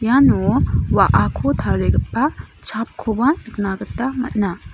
iano wa·ako tarigipa chapkoba nika gita man·a.